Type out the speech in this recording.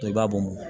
I b'a bɔ mɔ